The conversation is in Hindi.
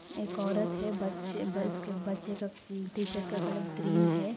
एक औरत है ब-बच्चे के टी- शर्ट का कलर ग्रीन है--